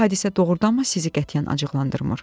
Bu hadisə doğrudanmı sizi qətiyyən acıqlandırmır?